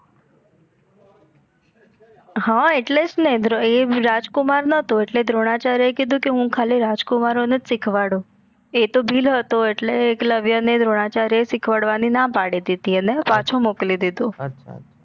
હા એટલેજ ને એ રાજકુમાર નતો એટલે દ્રોણાચાર્ય એ કીધું કે હું ખાલી રાજકુમારો નેજ સિખવાડું એ તો ભીલ હતો એટલે એકલવ્ય ને દ્રોણાચાર્ય એ સિખવાડવાની ના પડી દીધી એટલે પાછો મોકલી દીધો